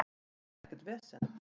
Þetta er ekkert vesen.